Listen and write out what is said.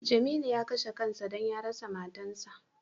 Jamilu ya kashe kan sa don ya rasa matan sa.